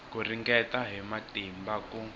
ku ringeta hi matimba ku